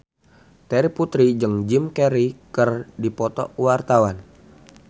Terry Putri jeung Jim Carey keur dipoto ku wartawan